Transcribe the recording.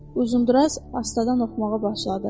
Uzundraz astadan oxumağa başladı.